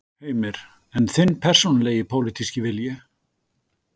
Heimir: En þinn persónulegi pólitíski vilji?